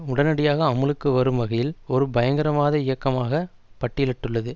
உடனடியாக அமுலுக்கு வரும் வகையில் ஒரு பயங்கரவாத இயக்கமாக பட்டியலிட்டுள்ளது